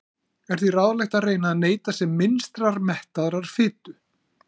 Er því ráðlegt að reyna að neyta sem minnstrar mettaðrar fitu.